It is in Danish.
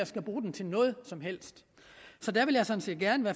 skal bruge det til noget som helst